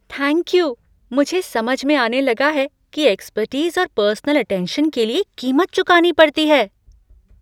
Thank you! मुझे समझ में आने लगा है कि एक्सपर्टीस और पर्सनल अटेंशन के लिए कीमत चुकानी पड़ती है।